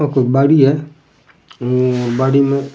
आ कोई बाड़ी है बाड़ी में --